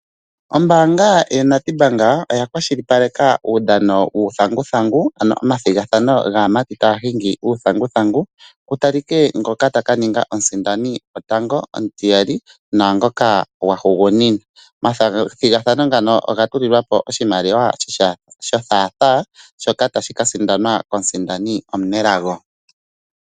Ombaanga yoNedbank oyakwashilipaleka uudhano wuuthanguthangu ano omathigathano gaamati taahingi uuthanguthangu, kutalike ngoka takaninga omusindani gotango, omutiyali naangoka gwahugunina. Omathigathano ngano ogatulilwapo oshimaliwa shothaathaa shoka tashikasindanwa komusindani omunelago.